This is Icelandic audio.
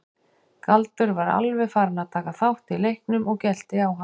Galdur var alveg farinn að taka þátt í leiknum og gelti á hann.